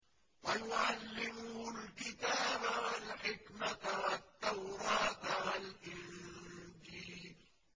وَيُعَلِّمُهُ الْكِتَابَ وَالْحِكْمَةَ وَالتَّوْرَاةَ وَالْإِنجِيلَ